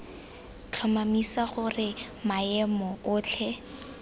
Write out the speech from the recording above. f tlhomamisa gore maemo otlhe